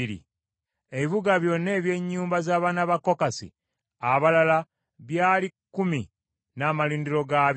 Ebibuga byonna eby’ennyumba z’abaana ba Kokasi abalala byali kkumi n’amalundiro gaabyo.